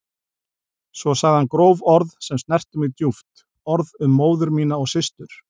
Svo sagði hann gróf orð sem snertu mig djúpt, orð um móður mína og systur.